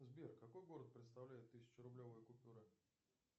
сбер какой город представляет тысяча рублевая купюра